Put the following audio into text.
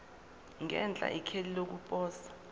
ngenhla ikheli lokuposa